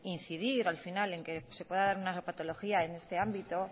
incidir al final en que se pueda dar una patología en este ámbito